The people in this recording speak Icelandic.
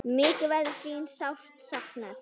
Mikið verður þín sárt saknað.